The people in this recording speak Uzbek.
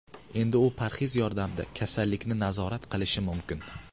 Endi u parhez yordamida kasallikni nazorat qilishi mumkin.